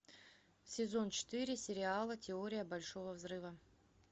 сезон четыре сериала теория большого взрыва